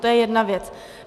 To je jedna věc.